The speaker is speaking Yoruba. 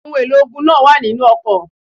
Ohun èlò ogun náà wà nínu ọkọ̀.